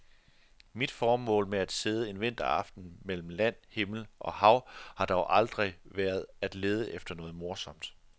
Mit formål med at sidde en vinteraften mellem land, himmel og hav har dog aldrig været at lede efter noget morsomt.